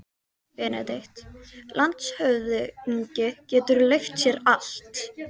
BENEDIKT: Landshöfðingi getur leyft sér allt.